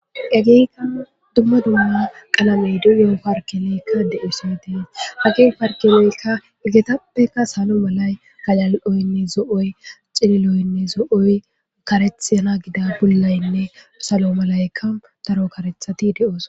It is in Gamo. ageeyka dumma dumma qalamey dio parkeleykka de7usoy dees hagee parkeleykka igetappeka salo malay galal7oynne zo7oy cililoynne zo7oy karethana gida bullaynne salo malaykka daro karethati de7oos